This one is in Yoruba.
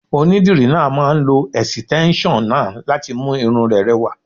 Onídìrí náà máà ń lo ẹ̀sìtẹ́nson náà láti mú irun rẹ rẹwà.